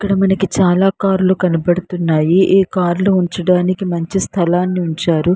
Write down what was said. ఇక్కడ మనకి చాలా కార్లు కనబడుతున్నాయి. ఈ కార్లు ఉంచడానికి మంచి స్థలాన్ని ఉంచారు.